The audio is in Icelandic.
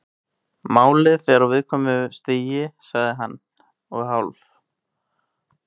Málið er á viðkvæmu stigi- sagði hann og hálf